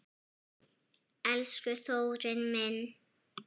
Elsku Þórir minn.